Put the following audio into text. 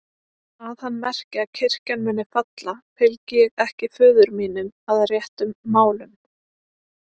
Að hann merki að kirkjan muni falla, fylgi ég ekki föður mínum að réttum málum.